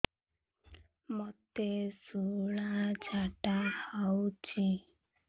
ମୋତେ ଶୂଳା ଝାଡ଼ା ହଉଚି